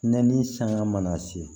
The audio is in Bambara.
Nɛnɛ ni sanga mana se